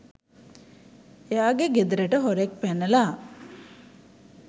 එයාගෙ ගෙදරට හොරෙක් පැනලා